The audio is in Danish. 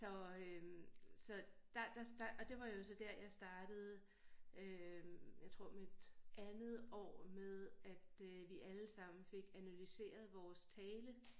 Så øh så der der og det var jo så der jeg startede øh jeg tror mit andet år med at øh vi alle sammen fik analyseret vores tale